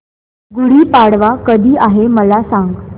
गुढी पाडवा कधी आहे मला सांग